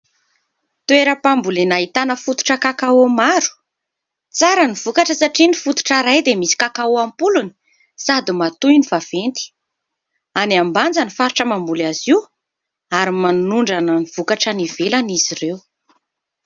Toeram-pambolena ahitana fototra kakao maro. Tsara ny vokatra satria ny fototra iray dia misy kakao ampolony sady matoy ny vaventy. Any Ambanja ny faritra mamboly azy io ary manondrana ny vokatra any ivelany izy ireo.